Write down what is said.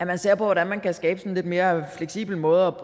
man ser på hvordan man kan skabe en lidt mere fleksibel måde